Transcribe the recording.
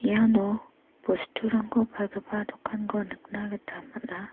iano bosturangko palgipa dokanko nikna gita man·a.